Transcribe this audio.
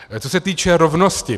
Co se týče rovnosti.